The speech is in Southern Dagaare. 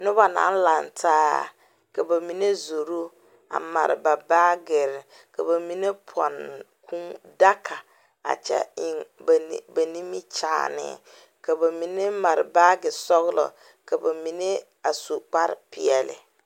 Noba naŋ laŋtaa ka ba mine zoro a mare ba baagirre ka ba mine pɔnne kuu daga a kyɛ eŋ ba ni ba nimikyaane ka ba mine mare baage sɔglɔ ka ba mine a su kparepeɛlle.